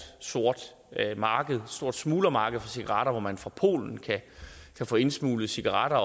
sort marked et stort smuglermarked for cigaretter hvor man fra polen kan få indsmuglet cigaretter